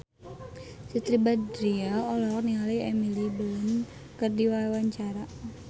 Siti Badriah olohok ningali Emily Blunt keur diwawancara